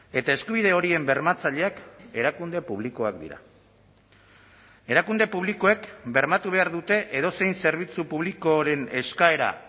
eta eskubide horien bermatzaileak erakunde publikoak dira erakunde publikoek bermatu behar dute edozein zerbitzu publikoren eskaera